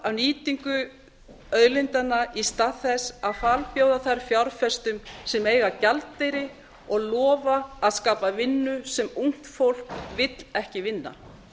af nýtingu auðlindanna í stað þess að falbjóða þær fjárfestum sem eiga gjaldeyri og lofa að skapa vinnu sem ungt fólk vill ekki vinna